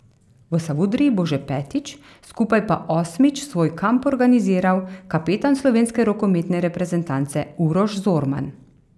V Savudriji bo že petič, skupaj pa osmič svoj kamp organiziral kapetan slovenske rokometne reprezentance Uroš Zorman.